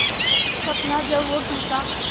हर सपना जब वो टूटा